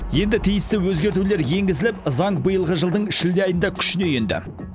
енді тиісті өзгертулер енгізіліп заң биылғы жылдың шілде айында күшіне енді